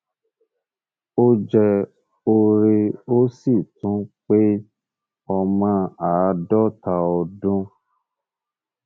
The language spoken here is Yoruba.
ó jẹ òre ó sì ti pé ọmọ àádọta ọdún